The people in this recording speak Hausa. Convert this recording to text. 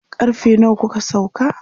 karfe nawa kuka sauka?